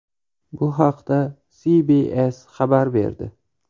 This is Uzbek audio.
Bu haqda CBS xabar berdi .